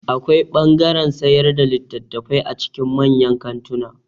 Akwai ɓangaren sayar da littafai a cikin manyan kantuna